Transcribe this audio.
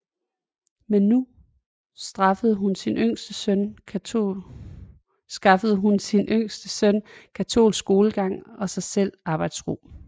Men nu skaffede hun sin yngste søn katolsk skolegang og sig selv arbejdsro